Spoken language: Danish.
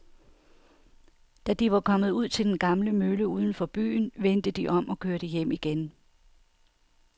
Da de var kommet ud til den gamle mølle uden for byen, vendte de om og kørte hjem igen.